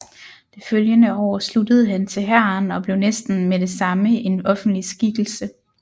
Det følgende år sluttede han til hæren og blev næsten med det samme en offentlig skikkelse